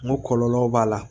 N ko kɔlɔlɔw b'a la